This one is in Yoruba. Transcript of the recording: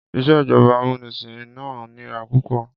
Ìjọba amúnisìn náà nira púpọ̀.